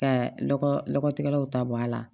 Ka lɔgɔtigɛlaw ta bɔ a la